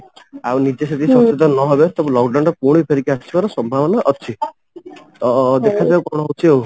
ଆଉ ନିଜେ ସେତିକି ସଚେତନ ନ ହେବେ ତାହେଲେ lock down ଟା ପୁଣି ଫେରିକି ଆସିବାର ସମ୍ଭାବନା ଅଛି ତ ଦେଖା ଯାଉ କଣ ହଉଚି ଆଉ